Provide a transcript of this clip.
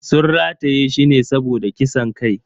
Sun rataye shi ne saboda kisan kai.